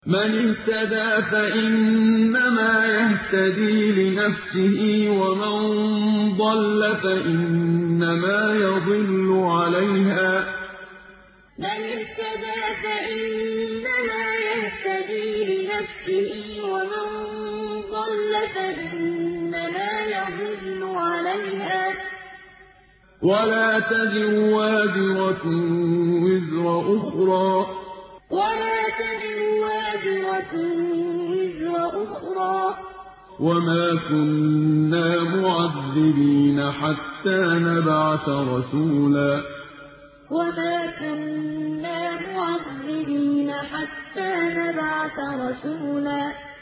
مَّنِ اهْتَدَىٰ فَإِنَّمَا يَهْتَدِي لِنَفْسِهِ ۖ وَمَن ضَلَّ فَإِنَّمَا يَضِلُّ عَلَيْهَا ۚ وَلَا تَزِرُ وَازِرَةٌ وِزْرَ أُخْرَىٰ ۗ وَمَا كُنَّا مُعَذِّبِينَ حَتَّىٰ نَبْعَثَ رَسُولًا مَّنِ اهْتَدَىٰ فَإِنَّمَا يَهْتَدِي لِنَفْسِهِ ۖ وَمَن ضَلَّ فَإِنَّمَا يَضِلُّ عَلَيْهَا ۚ وَلَا تَزِرُ وَازِرَةٌ وِزْرَ أُخْرَىٰ ۗ وَمَا كُنَّا مُعَذِّبِينَ حَتَّىٰ نَبْعَثَ رَسُولًا